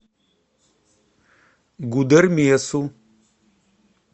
гудермесу